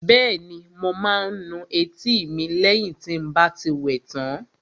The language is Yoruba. Bẹ́ẹ̀ni, mo máa nu etí mi lẹ́yìn tí n bá ti wẹ tán